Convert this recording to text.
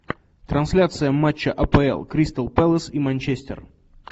трансляция матча апл кристал пэлас и манчестер